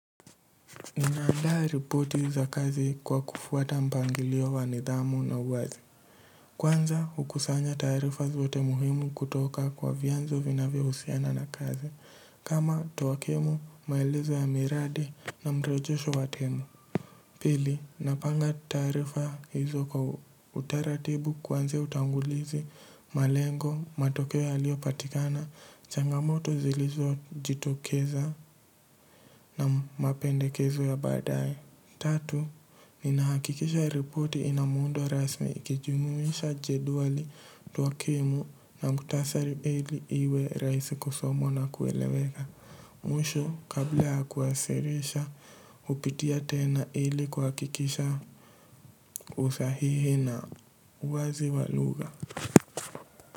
Ninaandaa ripoti za kazi kwa kufuata mpangilio wanidhamu na uwazi. Kwanza hukusanya tarifa zote muhimu kutoka kwa vianzo vinavyo husiana na kazi. Kama towakimu, maelizo ya miradi na mrejosho watemu. Pili, napanga taarifa hizo kwa utaratibu kuanzia utangulizi, malengo, matokeo yalio patikana, changamoto zilizo jitokeza na mapendekezo ya baadaye. Tatu, ninahakikisha riporti inamuundo rasmi ikijumumisha jedwali twakimu na mkutasari ili iwe rahisi kusomwa na kueleweka. Mwisho kabla ya kuwasilisha hupitia tena ili kuhakikisha usahihi na uwazi walugha.